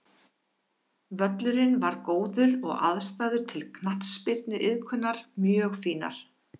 Völlurinn var góður og aðstæður til knattspyrnuiðkunar mjög fínar.